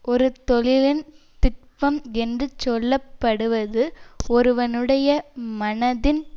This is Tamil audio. ஒரு தொழிலின் திட்பம் என்று சொல்ல படுவது ஒருவனுடைய மனதின்